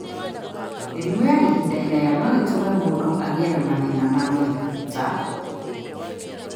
Mĩrimũ ya ihinda iraya no ĩtũme mũndũ agĩe na mathĩna ma mwĩrĩ ta: